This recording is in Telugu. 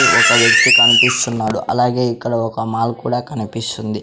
ఒక వ్యక్తి కనిపిస్తున్నాడు అలాగే ఇక్కడ ఒక మాల్ కూడా కనిపిస్తుంది.